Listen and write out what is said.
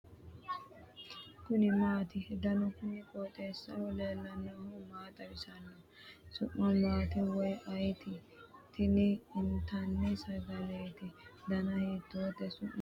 kuni maati ? danu kuni qooxeessaho leellannohu maa xawisanno su'mu maati woy ayeti ? tini intanni sagaleeti .dana hiitoote ? su'mise maati mayi iima no ?